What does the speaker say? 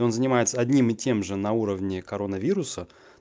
он занимается одним и тем же на уровне коронавируса